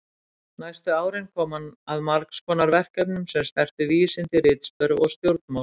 Næstu árin kom hann að margs konar verkefnum sem snertu vísindi, ritstörf og stjórnmál.